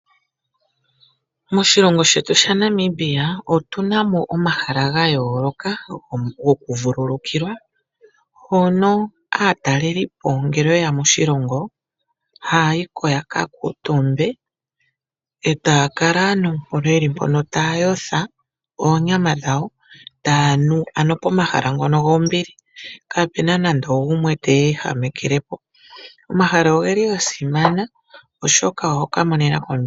Moshilongo shetu sha Nambia otuna mo omahala ga yooloka goku vululukilwa mono aatalelipo ngele yeya moshilongo haayiko yaka kuutumbe eta kala nduno hono taa yotja oonyama dhawo ano pomahala ngono gombili kaapuna nando ogumwe teye ehamekelepo omahala ogeli wo gasimana.